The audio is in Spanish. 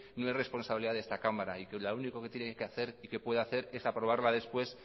no es responsabilidad de esta cámara y que lo único que tiene que hacer y que puede hacer es aprobarla después